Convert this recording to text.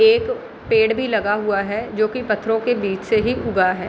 एक पेड़ भी लगा हुआ है जो की पत्थरो के बिच से ही उगा है |